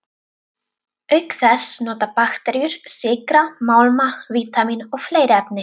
Auk þess nota bakteríur sykra, málma, vítamín og fleiri efni.